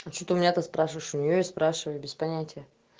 а что ты у меня-то спрашиваешь у нее и спрашивай без понятия